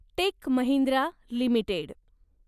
take Mahindra limited